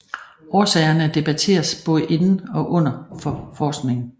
Årsagerne debatteres både inden og uden for forskningen